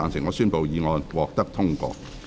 我宣布議案獲得通過。